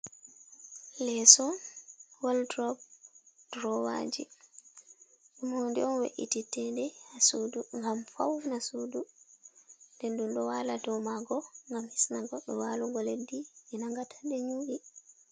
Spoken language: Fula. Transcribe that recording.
Leso, woldrop, drowaji. Huneon we’iti tede ha sudu gam fauna sudu de du ɗo wala domago gam hisnago do walugo leddi je nangata de nyu'i